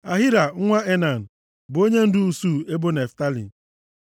Ahira nwa Enan bụ onyendu usuu ebo Naftalị.